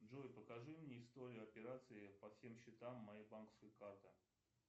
джой покажи мне историю операции по всем счетам моей банковской карты